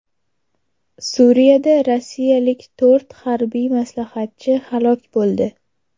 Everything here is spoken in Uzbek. Suriyada rossiyalik to‘rt harbiy maslahatchi halok bo‘ldi.